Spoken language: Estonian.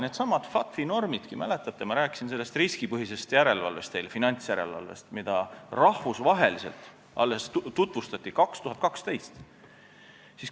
Neidsamu FATF-i normegi – ma rääkisin teile riskipõhisest finantsjärelevalvest – tutvustati rahvusvaheliselt alles 2012.